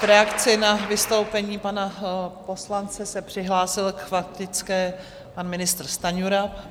V reakci na vystoupení pana poslance se přihlásil k faktické pan ministr Stanjura.